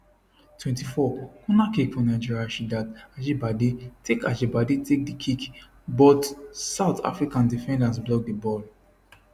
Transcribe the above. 24 corner kick for nigeria rasheedat ajibade take ajibade take di kick but south african defenders block di ball